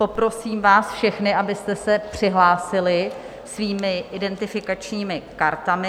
Poprosím vás všechny, abyste se přihlásili svými identifikačními kartami.